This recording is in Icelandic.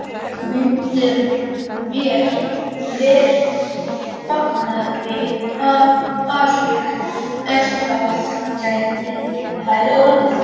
Myndum vér fagna því af alhug, ef það gæti orðið.